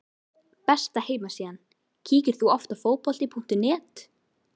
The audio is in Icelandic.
Besta heimasíðan Kíkir þú oft á Fótbolti.net?